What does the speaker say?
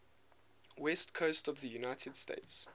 west coast of the united states